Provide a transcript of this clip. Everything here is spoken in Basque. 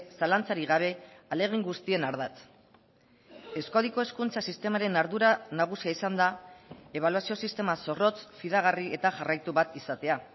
zalantzarik gabe ahalegin guztien ardatz euskadiko hezkuntza sistemaren ardura nagusia izan da ebaluazio sistema zorrotz fidagarri eta jarraitu bat izatea